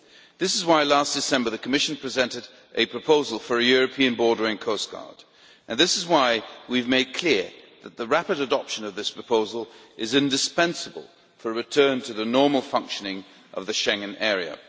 That is why, last December, the Commission presented a proposal for a European Border and Coast Guard and why we have made clear that the rapid adoption of this proposal is indispensable for a return to the normal functioning of the Schengen area.